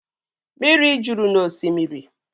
Mmiri juru n'osimiri